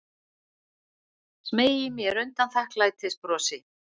Smeygi mér undan þakklætisbrosi.